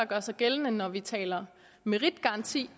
gør sig gældende når vi taler om meritgaranti